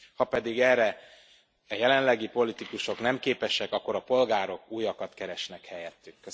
Ha pedig erre a jelenlegi politikusok nem képesek, akkor a polgárok újakat keresnek helyettük.